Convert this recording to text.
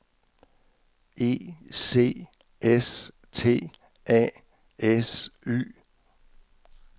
E C S T A S Y